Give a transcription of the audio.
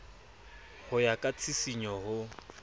ho ya ka tshisinyo ho